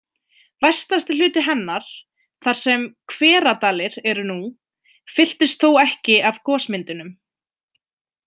Vestasti hluti hennar, þar sem Hveradalir eru nú, fylltist þó ekki af gosmyndunum.